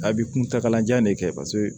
A bɛ kuntagala jan de kɛ paseke